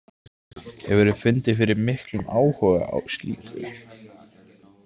Hefurðu fundið fyrir miklum áhuga á slíku?